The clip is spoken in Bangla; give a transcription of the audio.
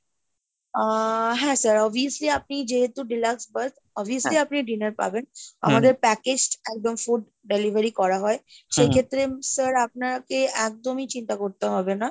আহ হ্যাঁ sir, obviously আপনি যেহেতু deluxe bus obviously আপনি dinner পাবেন package একদম food delivery করা হয়, সেইক্ষেত্রে sir আপনাকে একদমই চিন্তা করতে হবে না।